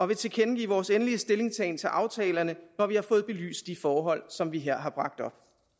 vil tilkendegive vores endelige stillingtagen til aftalerne når vi har fået belyst de forhold som vi her har bragt op